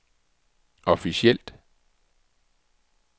officielt